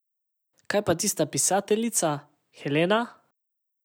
Kaj pa tista pisateljica, Helena?